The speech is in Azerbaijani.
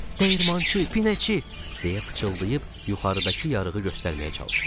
Dəyirmançı, pinəçi, deyə pıçıldayıb yuxarıdakı yarığı göstərməyə çalışdım.